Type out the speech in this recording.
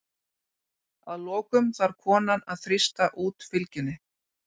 Að lokum þarf konan að þrýsta út fylgjunni.